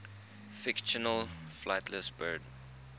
fictional flightless birds